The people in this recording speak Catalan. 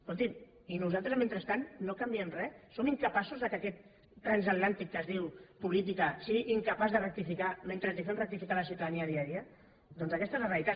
escolti’m i nosaltres mentrestant no canviem res som incapaços que aquest transatlàntic que es diu política sigui incapaç de rectificar mentre fem rectificar a la ciutadania dia a dia doncs aquesta és la realitat